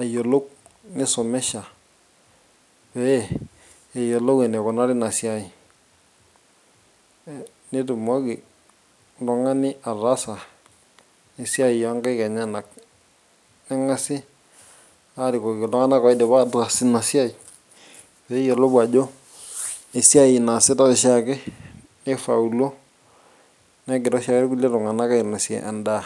ayiolou nisomesha pee eyiolou enikunari ina siai eh nitumoki oltung'ani ataasa esiai onkaik enyenak neng'asi arikoki iltung'anak oidipa ataas ina siai peyiolou ajo esiai naasitae oshiake nifauluo negira oshiake irkulie tung'anak ainosie endaa.